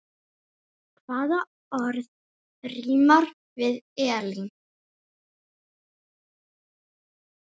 Hvaða orð rímar við Elín?